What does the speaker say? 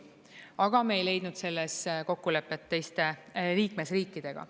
Aga me ei leidnud selles kokkulepet teiste liikmesriikidega.